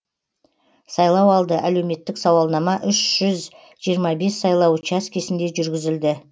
сайлауалды әлеуметтік сауалнама үш жүз жиырма бес сайлау учаскесінде жүргізілді